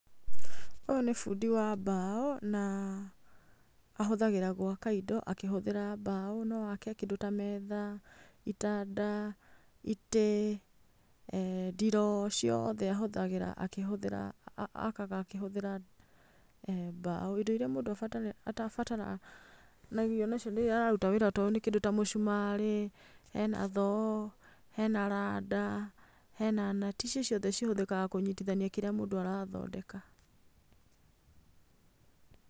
Ũyũ nĩ fundi wa mbaũ ,na ahũthagĩra gwaka indo akĩhũthĩra mbaũ, noake ta metha, itanda, itĩ eh ndiroo ciothe ahũthagĩra, akaga akĩhũthĩra mbaũ. Indo irĩa mũndũ abataraga nĩiria araruta nacio kĩndũ ta mũcumarĩ, hena thoo, hena rada, hena nati icio ciothe cihũthĩkaga kũnyitithania kĩrĩa mũndũ arathondeka.